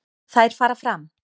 Þær fara fram